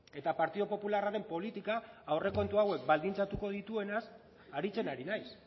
eta partidu popularraren politika aurrekontu hauek baldintzatuko dituenaz aritzen ari naiz